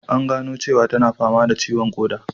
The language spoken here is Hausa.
An gano cewa tana fama da ciwon koda